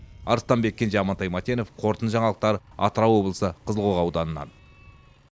арыстанбек кенже амантай мәтенов қорытынды жаңалықтар атырау облысы қызылқоға ауданынан